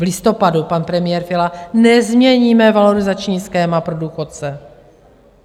V listopadu pan premiér Fiala: nezměníme valorizační schéma pro důchodce.